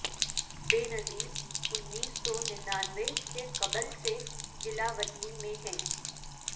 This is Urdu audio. بے نظیر انیس سو نناونے سے قبل سے جلا وطنی میں ہیں